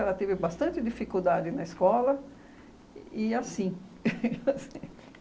Ela teve bastante dificuldade na escola e assim